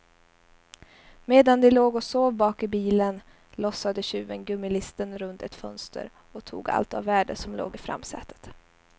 Medan de låg och sov bak i bilen, lossade tjuven gummilisten runt ett fönster och tog allt av värde som låg i framsätet.